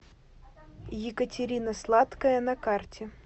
екатерина сладкая на карте